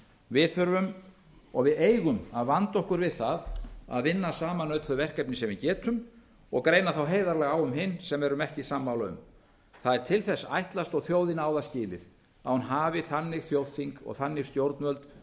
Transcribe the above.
við þurfum og við eigum að vanda okkur við það að vinna saman öll þau verkefni sem við getum og greina á heiðarlega á um hin sem við erum ekki sammála um það er til þess ætlast og þjóðin á það skilið að hún hafi þannig þjóðþing og þannig stjórnvöld